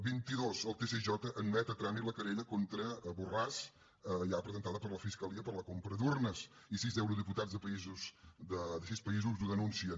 vint i dos el tsj admet a tràmit la querella contra borràs ja presentada per la fiscalia per la compra d’urnes i sis eurodiputats de sis països ho denuncien